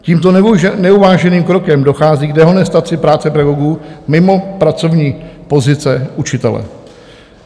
Tímto neuváženým krokem dochází k dehonestaci práce pedagogů mimo pracovní pozice učitele.